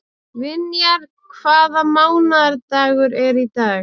Vinjar, hvaða mánaðardagur er í dag?